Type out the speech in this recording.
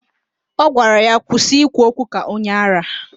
Ọ gwara ya, kwụsị ikwu okwu ka onye árá!